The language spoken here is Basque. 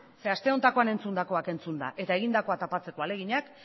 zeren aste honetan entzundakoak entzunda eta egindakoa tapatzeko ahaleginak